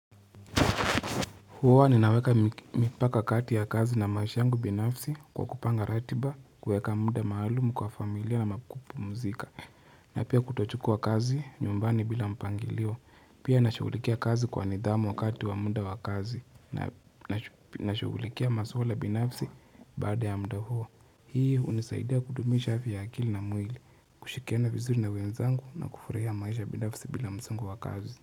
Huwa ninaweka mipaka kati ya kazi na maisha yangu binafisi kwa kupanga ratiba, kuweka muda maalumu kwa familia na kupumzika, na pia kutochukua kazi nyumbani bila mpangilio, pia nashugulikia kazi kwa nidhamu wakati wa muda wakazi, na nashugulikia maswala binafisi baada ya muda huu. Hii unisaidia kudumishafi ya akili na mwili, kushirikiana vizuri na wenzangu na kufurahia maisha binafisi bila msongo wakazi.